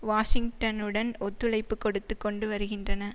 வாஷிங்டனுடன் ஒத்துழைப்பு கொடுத்து கொண்டு வருகின்றன